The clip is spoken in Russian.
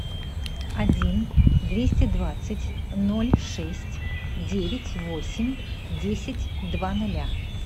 один двести двадцать ноль шесть девять восемь десять два ноля